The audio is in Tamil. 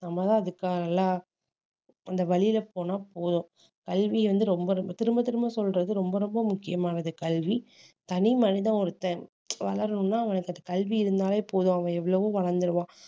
நம்மதான் அதுக்கான எல்லா அந்த வழியில போனா போதும் கல்வி வந்து ரொம்ப ரொம்ப திரும்ப திரும்ப சொல்றது ரொம்ப ரொம்ப முக்கியமானது கல்வி தனி மனிதன் ஒருத்தன் வளரணும்னா அவனுக்கு அந்த கல்வி இருந்தாலே போதும் அவன் எவ்வளவோ வளர்ந்துருவான்